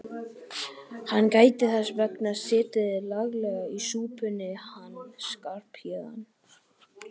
Hann gæti þess vegna setið laglega í súpunni hann Skarphéðinn.